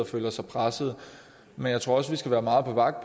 og føler sig pressede men jeg tror også vi skal være meget på vagt